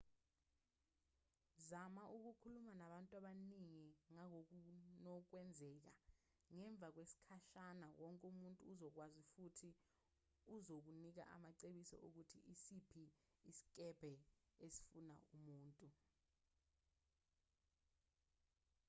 zama ukukhuluma nabantu abaningi ngangokunokwenzeka ngemva kwesikhashana wonke umuntu uzokwazi futhi uzokunika amacebiso okuthi isiphi isikebhe esifuna umuntu